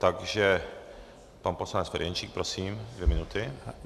Takže pan poslanec Ferjenčík, prosím, dvě minuty.